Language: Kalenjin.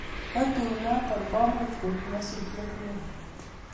Ko tuinoto komuch koib nyasutiet neo